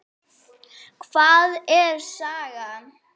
Einatt fer úr iðrum greitt.